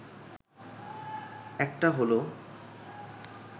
একটা হলো